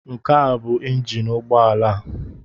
Nke a bụ ịnjin ụgbọala a.